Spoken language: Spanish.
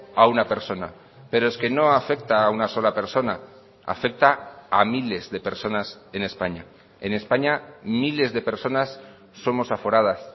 a una persona pero es que no afecta a una sola persona afecta a miles de personas en españa en españa miles de personas somos aforadas